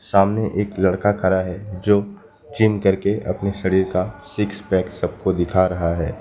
सामने एक लड़का खड़ा है जो जिम करके अपने शरीर का सिक्स पैक सबको दिखा रहा है।